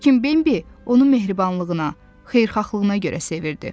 Lakin Bembi onu mehribanlığına, xeyirxahlığına görə sevirdi.